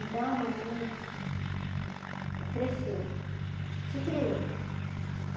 Então a mamãe cresceu, se criou.